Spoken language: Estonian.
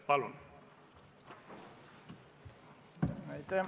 Palun!